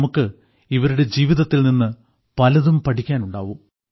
നമുക്ക് ഇവരുടെ ജീവിതത്തിൽനിന്ന് പലതും പഠിക്കാനുണ്ടാകും